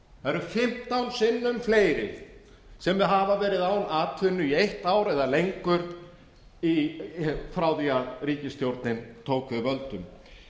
eru fimmtán sinnum fleiri sem hafa verið án atvinnu í eitt ár eða lengur frá því að ríkisstjórnin tók við völdum